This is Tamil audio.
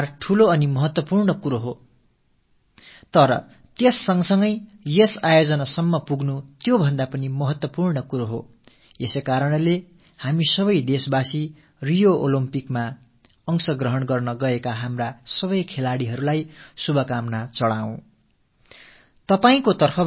வெற்றியும் தோல்வியும் மகத்துவம் வாய்ந்தவை தாம் என்றாலும் இவற்றோடு கூடவே விளையாட்டில் இந்த நிலையை எட்டுவது என்பதே கூட அதை விட மகத்துவம் நிறைந்தது ஆகையால் நாட்டு மக்கள் நாமனைவரும் ரியோ ஒலிம்பிக்கிற்குச் சென்றிருக்கும் நமது அனைத்து விளையாட்டு வீரர்களுக்கும் நமது நல்வாழ்த்துக்களைத் தெரிவித்துக் கொள்வோம்